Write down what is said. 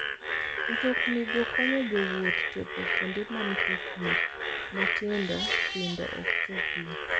Mtoknigo konyo jowuoth chopo kuonde ma mtokni matindo tindo ok chopie.